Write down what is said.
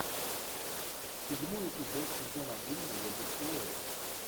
седьмой эпизод сезон один наемник куорри